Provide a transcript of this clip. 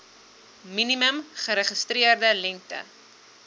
minimum geregistreerde lengte